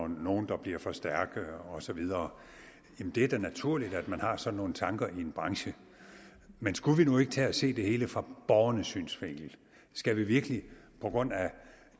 nogle der bliver for stærke og så videre det er da naturligt at man har sådan nogle tanker i en branche men skulle vi nu ikke tage at se det hele fra borgernes synsvinkel skal vi virkelig på grund af